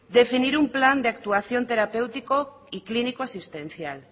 definir un plan de actuación terapéutico y clínico asistencial